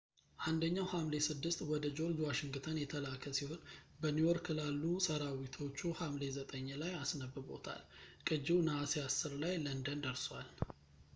አንደኛው ሐምሌ 6 ወደ ጆርጅ ዋሽንግተን የተላከ ሲሆን በኒውዮርክ ላሉ ሰራዊቶቹ ሐምሌ 9 ላይ አስነብቦታል ቅጂው ነሐሴ 10 ላይ ለንደን ደርሷል